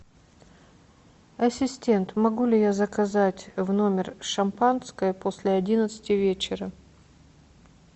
ассистент могу ли я заказать в номер шампанское после одиннадцати вечера